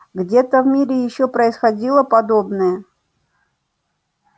где-то в мире ещё происходило подобное